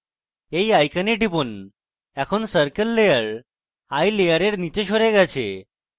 eye icon টিপুন এখন circle layer eye layer নীচে সরে গেছে